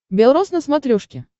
бел рос на смотрешке